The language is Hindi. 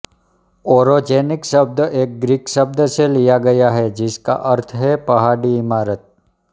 ओरोजेनिक शब्द एक ग्रीक शब्द से लिया गया है जिसका अर्थ है पहाड़ी इमारत